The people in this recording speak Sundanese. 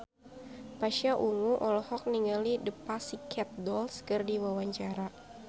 Pasha Ungu olohok ningali The Pussycat Dolls keur diwawancara